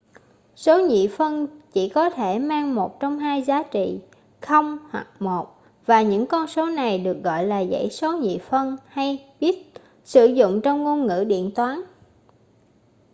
số nhị phân chỉ có thể mang một trong hai giá trị 0 hoặc 1 và những con số này được gọi là dãy số nhị phân hay bit sử dụng trong ngôn ngữ điện toán